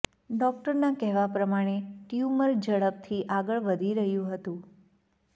ડોક્ટરના કહેવા પ્રમાણે ટ્યુમર ઝડપથી આગળ વધી રહ્યું હતું